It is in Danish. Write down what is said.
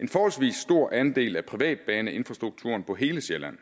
en forholdsvis stor andel af privatbaneinfrastrukturen på hele sjælland